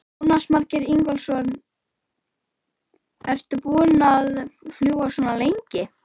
Jónas Margeir Ingólfsson: Ertu búin að fljúga svona lengi?